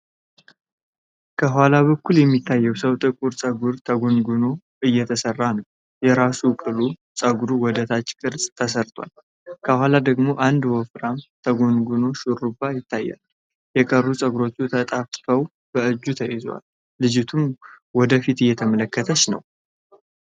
ከኋላ በኩል የሚታየው ሰው ጥቁር ፀጉር ተጎንጉኖ እየተሰራ ነው። የራስ ቅሉ ፀጉር ወደ ታች ቅርጽ ተሰርቷል፣ ከኋላ ደግሞ አንድ ወፍራም የተጎነጎነ ሹሩባ ይታያል። የቀሩት ፀጉሮች ተጣፍተው በእጅ ተይዘዋል። ልጅቱም ወደፊት እየተመለከተች ነው።